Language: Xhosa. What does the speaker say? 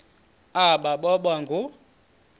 aba boba ngoo